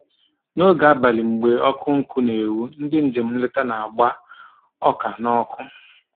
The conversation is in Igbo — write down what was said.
N'oge abalị mgbe ọkụ nkụ na-enwu, ndị njem nleta na-agba ọka n'ọkụ